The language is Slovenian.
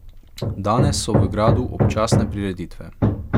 Danes so v gradu občasne prireditve.